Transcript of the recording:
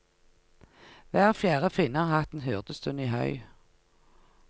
Hver fjerde finne har hatt en hyrdestund i høy.